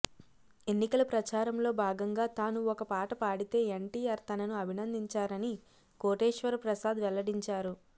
ఎన్నికల ప్రచారంలో భాగంగా తాను ఒక పాట పాడితే ఎన్ టిఆర్ తనను అభినందించారని కోటేశ్వర ప్రసాద్ వెల్లడించారు